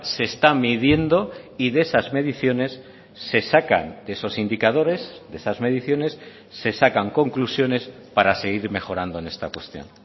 se está midiendo y de esas mediciones se sacan de esos indicadores de esas mediciones se sacan conclusiones para seguir mejorando en esta cuestión